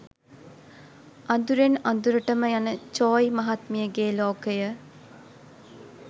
අදුරෙන් අදුරටම යන චෝයි මහත්මියගේ ලෝකය